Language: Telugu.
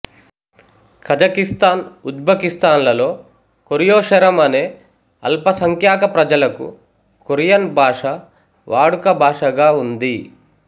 కజకిస్తాన్ ఉజ్బెకిస్తాన్లలో కొరియోశరం అనే అల్పసఖ్యాక ప్రజలకు కొరియన్ భాష వాడుక భాషాగా ఉంది